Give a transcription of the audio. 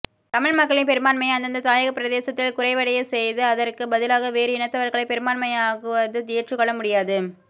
தமிழ் மக்களின் பெரும்பான்மையை அந்தந்த தாயக பிரதேசத்தில் குறைவடைய செய்து அதற்கு பதிலாக வேறு இனத்தவர்களை பெரும்பான்மையாக்குவது ஏற்றுக்கொள்ள முடியாது